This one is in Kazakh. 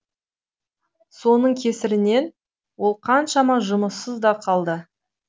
соның кесірінен ол қаншама жұмыссыз да қалды